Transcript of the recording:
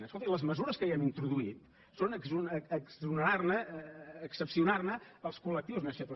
escolti les mesures que hi hem introduït són exonerar ne excepcionar ne els col·lectius més febles